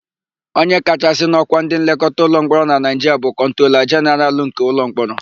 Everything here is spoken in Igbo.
Onye kachasị n'ọ́kwá ndịnlekọta ụlọmkpọrọ na Naịjiria bụ kọntrola jenaralụ nke ụlọmkpọrọ.